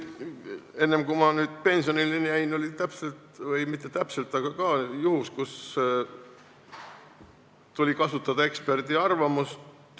Enne kui ma pensionile jäin, oli mul ka juhtum, kui tuli kasutada eksperdiarvamust.